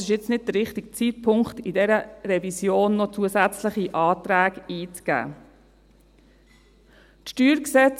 Jetzt ist aber nicht der richtige Zeitpunkt, in dieser Revision noch zusätzliche Anträge einzugeben.